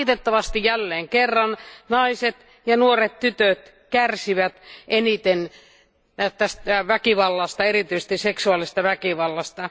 Valitettavasti jälleen kerran naiset ja nuoret tytöt kärsivät eniten väkivallasta, erityisesti seksuaalisesta väkivallasta.